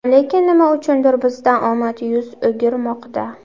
Lekin nima uchundir bizdan omad yuz o‘girmoqda.